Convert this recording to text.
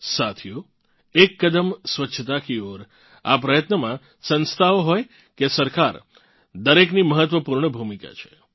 સાથીઓ एक कदम स्वच्छता की ओर આ પ્રયત્નમાં સંસ્થાઓ હોય કે સરકાર દરેકની મહત્વપૂર્ણ ભૂમિકા છે